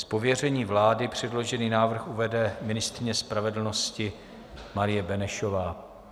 Z pověření vlády předložený návrh uvede ministryně spravedlnosti Marie Benešová.